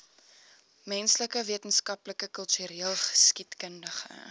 menslike wetenskappe kultureelgeskiedkundige